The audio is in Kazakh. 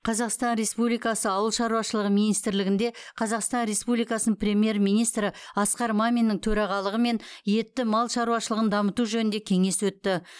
қазақстан республикасы ауыл шаруашылығы министрлігінде қазақстан республикасының премьер министрі асқар маминнің төрағалығымен етті мал шаруашылығын дамыту жөнінде кеңес өтті